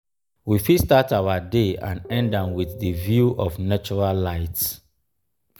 we fit start our day and end am with di view of natural light